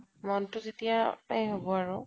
মনতো যেতিয়া তাই হব আৰু